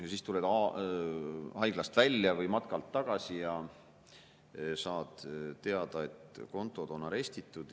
Siis tuled haiglast välja või matkalt tagasi ja saad teada, et kontod on arestitud.